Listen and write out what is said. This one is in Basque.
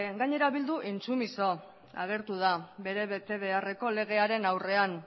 gainera bildu intsumiso agertu da bere betebeharreko legearen aurrean